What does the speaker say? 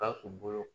Ka k'u bolo